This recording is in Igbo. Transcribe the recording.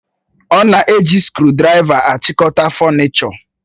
Ọ na-eji skrụdiraiva achịkọta fọnichọ.